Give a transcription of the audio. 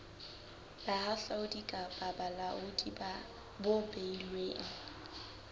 bohahlaudi kapa bolaodi bo beilweng